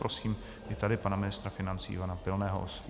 Prosím i tady pana ministra financí Ivana Pilného.